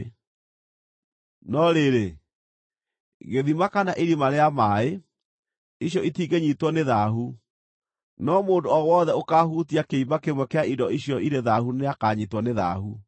No rĩrĩ, gĩthima kana irima rĩa maaĩ, icio itingĩnyiitwo nĩ thaahu, no mũndũ o wothe ũkaahutia kĩimba kĩmwe kĩa indo icio irĩ thaahu nĩakanyiitwo nĩ thaahu.